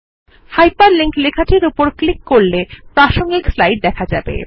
hyper link লেখাটির উপর click করলে প্রাসঙ্গিক স্লাইড দেখা যাবে